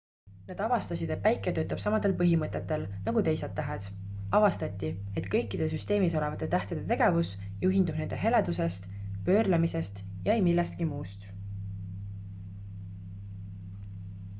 nad avastasid et päike töötab samadel põhimõtetel nagu teised tähed avastati et kõikide süsteemis olevate tähtede tegevus juhindub nende heledusest pöörlemisest ja ei millestki muust